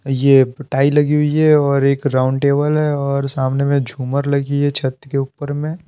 ये टाई लगी हुई है और एक राउंड टेबल है और सामने में झूमर लगी है छत के ऊपर में--